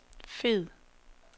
fed